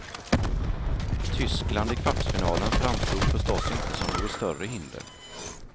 Tyskland i kvartsfinalen framstod förstås inte som något större hinder.